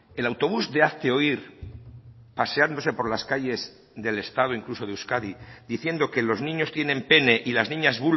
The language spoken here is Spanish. el autobús de hazte oír paseándose por las calles del estado incluso de euskadi diciendo que los niños tienen pene y las niñas